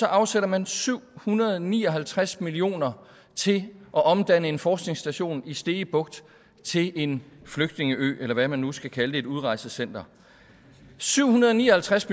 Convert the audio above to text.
afsætter man syv hundrede og ni og halvtreds million kroner til at omdanne en forskningsstation i stege bugt til en flygtningeø eller hvad man nu skal kalde det et udrejsecenter syv hundrede og ni og halvtreds